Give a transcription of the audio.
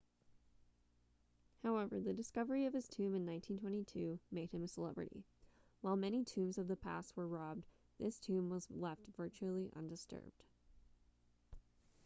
however the discovery of his tomb in 1922 made him a celebrity while many tombs of the past were robbed this tomb was left virtually undisturbed